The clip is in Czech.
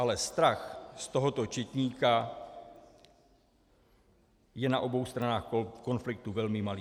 Ale strach z tohoto četníka je na obou stranách konfliktu velmi malý.